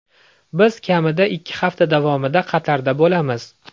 Biz kamida ikki hafta davomida Qatarda bo‘lamiz.